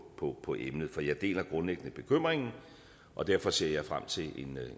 på på emnet for jeg deler grundlæggende bekymringen og derfor ser jeg frem til